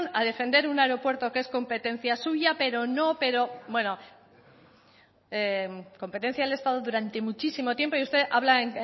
a defender un aeropuerto que es competencia suya pero no pero bueno competencia del estado durante muchísimo tiempo y usted habla